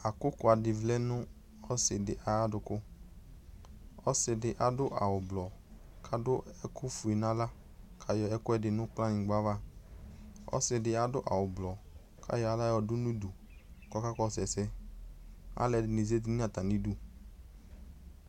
Akʋkʋadɩ vlɛ nʋ ɔsɩdɩ ay'adʋkʋ ; ɔsɩdɩ adʋ awʋblɔbk'adʋ ɛkʋfue n'aɣla k'ayɔ ɛkʋɛdɩ nʋ kplanyɩgba ava Ɔsɩdɩ adʋ awʋblɔ k'ayɔ aɣla yɔdʋ n'udu k'ɔka kɔsʋ ɛsɛ Alʋɛdɩnɩ zati n'atamidu